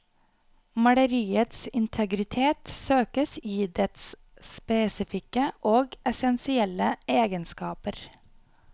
Maleriets integritet søkes i dets spesifikke og essensielle egenskaper.